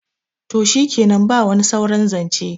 to shikenan ba wani sauran zance